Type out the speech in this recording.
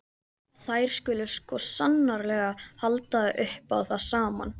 Þær skuli sko sannarlega halda upp á það saman.